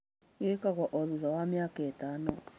gĩkagũo othutha wa mĩaka ĩtano.